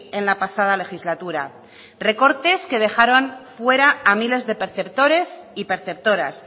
en la pasada legislatura recortes que dejaron fuera a miles de perceptores y perceptoras